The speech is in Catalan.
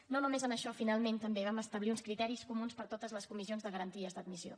i no només en això finalment també vam establir uns criteris comuns per a totes les comissions de garanties d’admissió